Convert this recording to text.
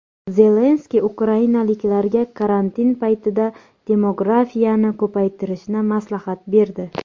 Zelenskiy ukrainaliklarga karantin paytida demografiyani ko‘paytirishni maslahat berdi.